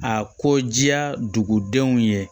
A ko diya dugudenw ye